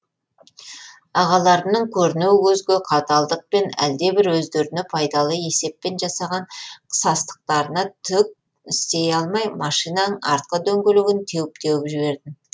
ағаларымның көрінеу көзге қаталдықпен әлдебір өздеріне пайдалы есеппен жасаған қысастықтарына түк істей алмай машинаның артқы дөңгелегін теуіп теуіп жібердім